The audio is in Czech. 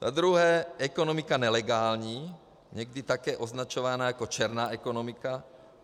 Za druhé ekonomiku nelegální, někdy také označovanou jako černá ekonomika.